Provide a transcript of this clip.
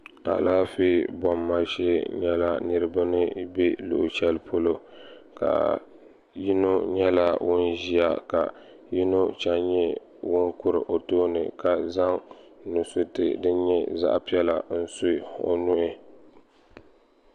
alaanƒɛ bumima shɛɛ nyɛla niriba ni bɛ luɣ' shɛli polo ka yino nyɛla ŋɔ ʒɛya ka yino chɛni nyɛ ŋɔ kuri o tuuni ka zaŋ nu suritɛ din nyɛ zaɣ piɛli n su o nuhi